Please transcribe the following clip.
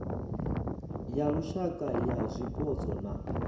ya lushaka ya zwipotso na